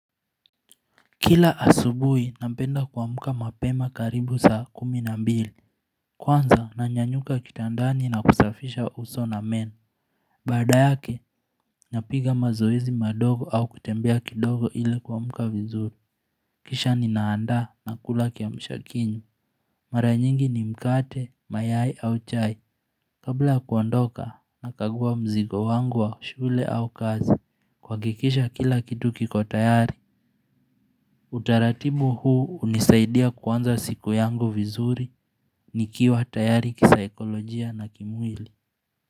Kila asubui napenda kuamka mapema karibu saa kumi na mbili Kwanza nanyanyuka kitandani na kusafisha uso na meno Baada yake napiga mazoezi madogo au kutembea kidogo ile kuamka vizuri Kisha ninaanda na kula kiamshakinywamMara nyingi ni mkate, mayai au chai Kabla kuondoka nakagua mzigo wangu wa shule au kazi Kwa kuhakikisha kila kitu kiko tayari Utaratibu huu hunisaidia kuanza siku yangu vizuri nikiwa tayari kisaikolojia na kimwili.